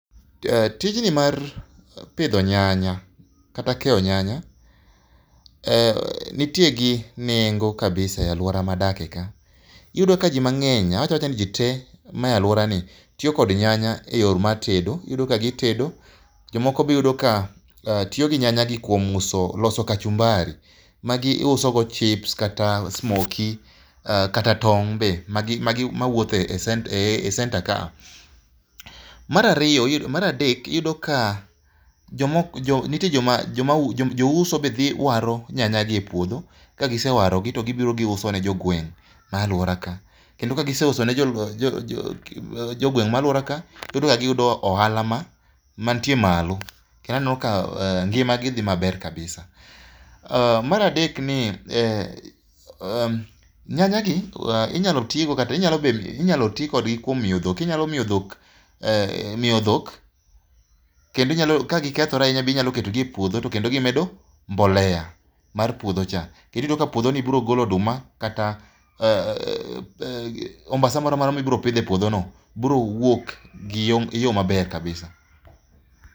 Tijni mar pidho nyanya kata keyo nyanya nitie gi nengo kabisa e alwora madake ka iyudo ka ji mang'eny awach awacha ni ji te maa alworani tiyo kod nyanya e yo mar tedo iyudo ka gitedo jomoko be iyudo ka tiyo gi nyanyagi kuom loso kachumbari magiusogo chips kata smokie kata tong' be mawuotho e senta kaa. Mar adek iyudo ka nitie jouso be dhi waro nyanyagi e puodho kagisewarogi to gibiro giusone jogweng' ma alwora ka. Kendo ka giseuso ne jogweng' ma alworaka giyudo ohala mantie malo kendo aneno ka ngimagi dhi maber kabisa. Mar adek , nyanyagi inyalo ti kodgi kuom miyo dhok, inyalo miyo dhok kendo ka gikethore ahinya inyalo ketogi e puodho to kendo gimedo mbolea mar puodhocha kendo iyudo ka puodhoni biro golo oduma kata ombasa moro amora mibiro pidho e puodhono biro wuok e yo maber kabisa.